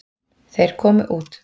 Þeir komu út.